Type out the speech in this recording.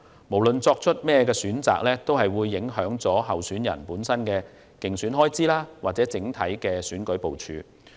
無論作出何種選擇，均會影響候選人的競選開支和整體選舉部署。